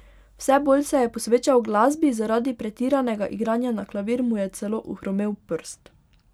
Vse bolj se je posvečal glasbi, zaradi pretiranega igranja na klavir mu je celo ohromel prst.